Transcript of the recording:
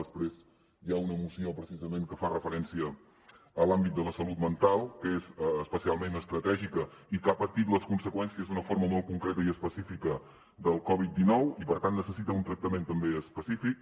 després hi ha una moció precisament que fa referència a l’àmbit de la salut mental que és especialment estratègica i que ha patit les conseqüències d’una forma molt concreta i específica de la covid dinou i per tant necessita un tractament també específic